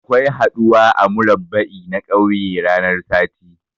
Akwai haɗuwa a murabba'i na kauye ranan sati.